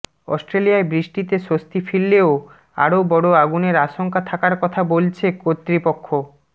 অস্ট্রেলিয়ায় বৃষ্টিতে স্বস্তি ফিরলেও আরো বড় আগুনের আশঙ্কা থাকার কথা বলছে কর্তৃপক্ষ